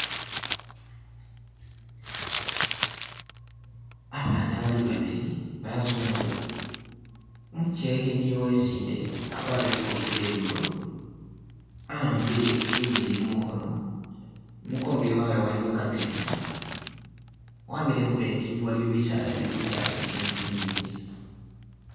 Abana bali babili bazungu, umukekhe niye uwesinde akwarire ikofila iye blue, a'ambile ingeni mukhono imukongo wabwe iliyo kametsi wamile khumetsi aliyo bisala bili itayi ni tsi nyinji.